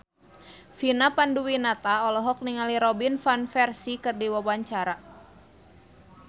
Vina Panduwinata olohok ningali Robin Van Persie keur diwawancara